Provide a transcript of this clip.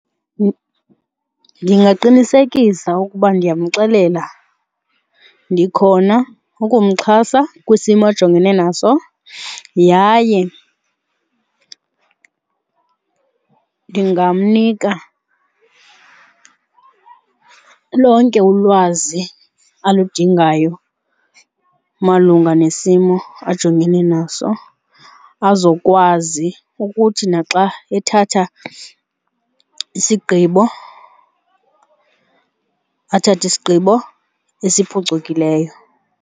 Ndingaqinisekisa ukuba ndiyamxelela ndikhona ukumxhasa kwisimo ajongene naso yaye ndingamnika lonke ulwazi aludingayo malunga nesimo ajongene naso, azokwazi ukuthi naxa ethatha isigqibo athathe isigqibo esiphucukileyo.